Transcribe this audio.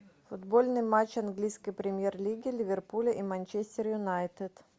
футбольный матч английской премьер лиги ливерпуль и манчестер юнайтед